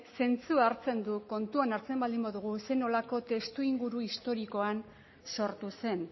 zentzua hartzen du kontuan hartzen baldin badugu zer nolako testuinguru historikoan sortu zen